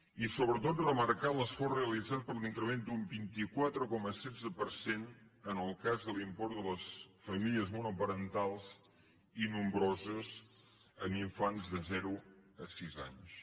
i sobretot remarcar l’esforç realitzat per l’increment d’un vint quatre coma setze per cent en el cas de l’import de les famílies monoparentals i nombroses amb infants de zero a sis anys